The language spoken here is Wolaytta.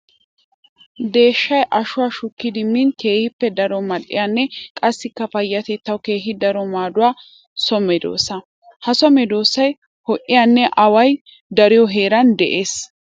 Deeshshay ashuwa shukkiddi min keehippe daro mali'iyanne qassikka payatettawu keehi daro maaduwa so medosa. Ha so meedosay ho'iyanne away dariyo heeran de'ees.